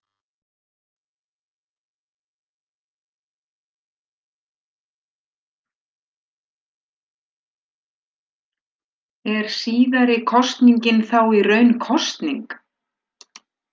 Er síðari kosningin þá í raun ný kosning.